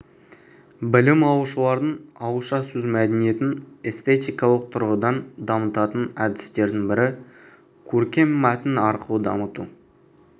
білім алушылардың ауызша сөз мәдениетін эстетикалық тұрғыдан дамытатын әдістердің бірі көркем мәтін арқылы дамыту